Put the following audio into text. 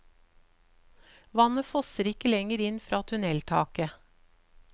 Vannet fosser ikke lenger inn fra tunneltaket.